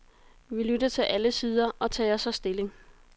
Vi lytter til alle sider og tager så stilling.